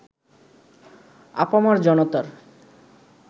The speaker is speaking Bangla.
আপামর জনতার